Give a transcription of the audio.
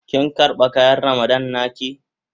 Kin karba kayan Ramadan na ki?